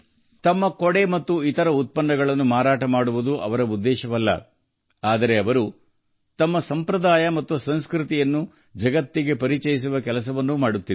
ತಮ್ಮ ಛತ್ರಿ ಮತ್ತು ಇತರ ಉತ್ಪನ್ನಗಳನ್ನು ಮಾರಾಟ ಮಾಡುವುದು ಮಾತ್ರ ಅವರ ಉದ್ದೇಶವಲ್ಲ ಜತೆಗೆ ಅವರು ತಮ್ಮ ಸಂಪ್ರದಾಯ ಸಂಸ್ಕೃತಿಯನ್ನು ಜಗತ್ತಿಗೆ ಪರಿಚಯಿಸುತ್ತಿದ್ದಾರೆ